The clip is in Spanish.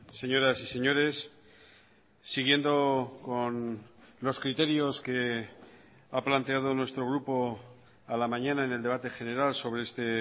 señoras y señores siguiendo con los criterios que ha planteado nuestro grupo a la mañana en el debate general sobre este